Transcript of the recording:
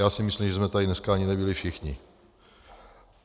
Já si myslím, že jsme tady dneska ani nebyli všichni.